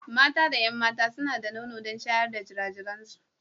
Mata da 'yan mata suna da nono don shayar da jirajiransu.